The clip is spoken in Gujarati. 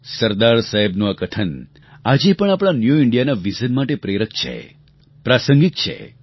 સરદાર સાહેબનું આ કથન આજે પણ આપણા ન્યૂ ઇન્ડિયાના વિઝન માટે પ્રેરક છે પ્રાસંગિક છે